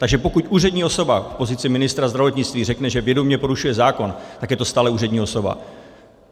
Takže pokud úřední osoba v pozici ministra zdravotnictví řekne, že vědomě porušuje zákon, tak je to stále úřední osoba.